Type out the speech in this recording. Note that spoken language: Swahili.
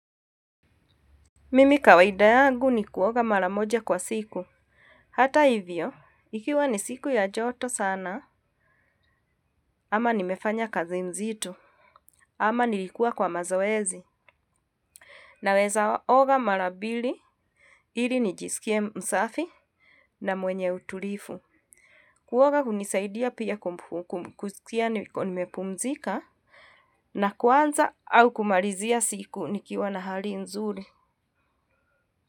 Mimi kawaida yangu ni kuoga mara moja kwa siku. Hata hivyo, ikiwa ni siku ya joto sana, ama nimefanya kazi mzito. Ama nilikuwa kwa mazoezi. Naweza oga mara mbili. Ili nijisikie msafi na mwenye utulivu. Kuoga hunisaidia pia kusikia nimepumzika na kuanza au kumalizia siku nikiwa na hali nzuri.